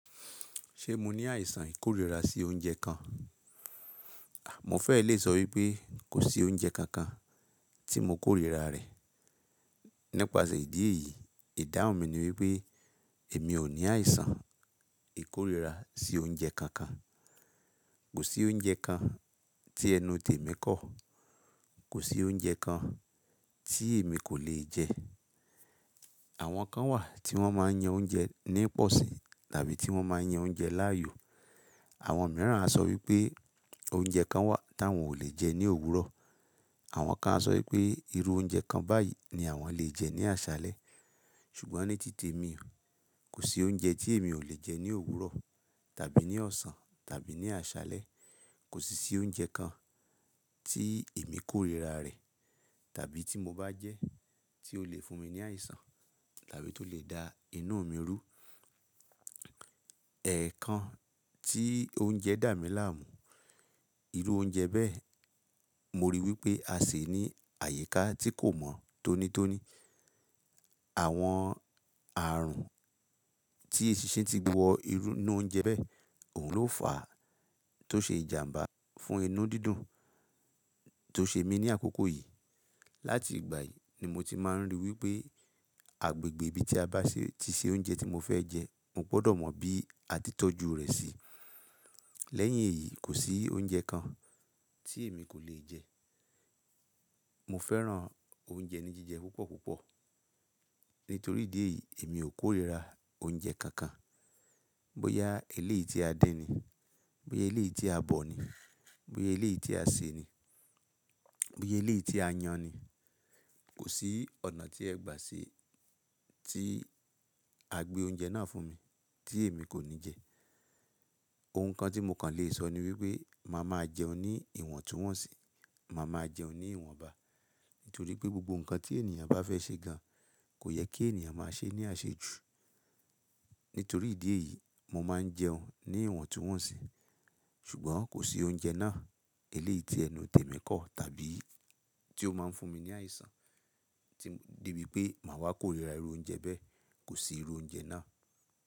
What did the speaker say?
Ṣé mo ní àìsàn ìkórìíra sí oúnjẹ kan? Mo fẹ́ lè sọ wípé kò sí oúnjẹ kankan tí mo kórìíra rẹ̀. Nípasẹ̀ ìdí èyí, ìdáhùn mi ni wípé èmi ò ní àìsàn ìkórìíra sí oúnjẹ kankan. Kò sí oúnjẹ kan tí ẹnu tèmi kọ̀. Kò sí oúnjẹ kan tí èmi kò lè jẹ. Àwọn kan wà tí wọ́n máa ń yan oúnjẹ ní pọ̀sì tàbí tí wọ́n máa ń yan oúnjẹ láàyò. Àwọn mìíràn á sọ wípé oúnjẹ kan wà tí àwọn ò lè jẹ ní òwúrọ̀. Àwọn kan á sọ wípé irú oúnjẹ kan báyìí ni àwọn lè jẹ ní àṣálẹ́. Ṣùgbọ́n ní tí temi, kò sí oúnjẹ tí èmi ò lè jẹ ní òwúrọ̀ tàbí ní ọ̀sán tàbí ní àṣálẹ́. Kò sí i oúnjẹ kan tí èmi kórìíra rẹ̀ tàbí tí mo bá jẹ, tí ó lè fún mi ní àìsàn tàbí tó lè da inú mi rú. Ẹ̀ kan tí oúnjẹ dà mí láàmú, irú oúnjẹ bẹ́ẹ̀, mo rí wípé a se ní àyíká tí kò mọ̀ tónítóní. Àwọn ààrùn tí èṣìṣin ti wọ inú oúnjẹ bẹ́ẹ̀, òun ló fàá tó ṣe ìjàmbá fún inú dídùn tó ṣe mí ní àkókò yìí. Látìgbà yìí ni mo ti máa ń rí i wípé agbègbè ibi tí a bá ṣe, ti ṣe oúnjẹ tí mo fẹ́ jẹ, mo gbọdọ̀ mọ bí a ti tọ́jú rẹ̀ sí. Lẹ́yìn èyí, kò sí oúnjẹ kan tí èmi kò lè jẹ. Mo fẹ́ràn oúnjẹ ní jíjẹ púpọ̀ púpọ̀. Nítorí ìdí èyí èmi ò kórìíra oúnjẹ kankan. Bóyá eléyi tí a dín ni, bóyá eléyi tí a bọ̀ ni, bóyá eléyi tí a sè ni, bóyá eléyi tí a yan ni, kò sí ọ̀nà tí ẹ gbà ṣe tí a gbé oúnjẹ náà fún mi tí èmi kò ní jẹ. Ohun kan tí mo kàn lè sọ ni wípé màá máa jẹun ní ìwọ̀ntúnwọ̀nsì, màá máa jẹun ní ìwọ̀nba. Nítorí pé gbogbo ǹkan tí ènìyàn bá fẹ́ ṣe gan, kò yẹ kí ènìyàn máa ṣe é ní àṣejù. Nítorí ìdí èyí mo máa ń jẹun ní ìwọ̀ntúnwọ̀nsì. Ṣùgbọ́n kò sí oúnjẹ náà, eleyi tí ẹnu tèmi kọ̀ tàbí tí ó máa ń fún mi ní àìsàn de bi pé màá wá kórìíra irú oúnjẹ bẹ́ẹ̀. Kò sí irú oúnjẹ náà.